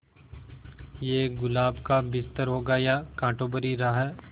ये गुलाब का बिस्तर होगा या कांटों भरी राह